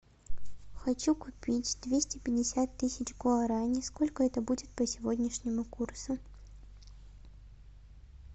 хочу купить двести пятьдесят тысяч гуарани сколько это будет по сегодняшнему курсу